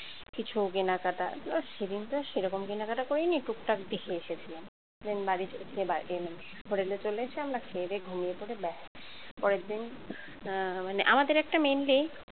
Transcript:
কিছু কেনাকাটা সেদিন তো সেরকম কেনাকাটা করিনি টুকটাক দেখে এসেছিলাম main বাড়ি hotel এ চলে এসে আমরা খেয়েদেয়ে ঘুমিয়ে পড়ে ব্যাস পরের দিন মানে আমাদের একটা mainly